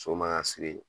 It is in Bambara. So man ka